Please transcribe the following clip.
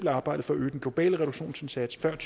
arbejdet for at øge den globale reduktionsindsats før